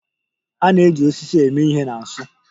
A na-eji osisi eme ihe na nsu.